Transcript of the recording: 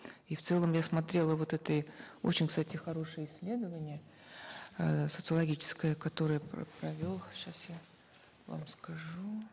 и в целом я смотрела вот это и очень кстати хорошее исследование эээ социологическое которое провел сейчас я вам скажу